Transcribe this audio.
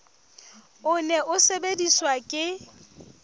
o ne o sebediswa ke